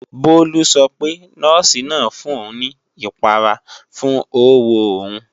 Bólú sọ pé, Nọ́ọ̀sì náà fún òun ní ìpara fún ówo òun